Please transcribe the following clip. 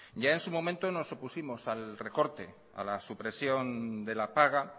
ya en su momento nos opusimos al recorte a la supresión de la paga